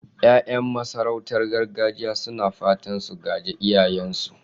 Yayan masu sarautar gargajiya suna fatan su gaji iyayensu.